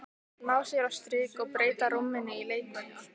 Ná sér á strik og breyta rúminu í leikvöll.